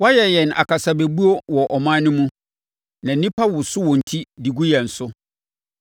Woayɛ yɛn akasabɛbuo wɔ aman no mu na nnipa no woso wɔn ti de gu yɛn so.